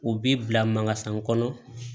U bi bila mangasan kɔnɔ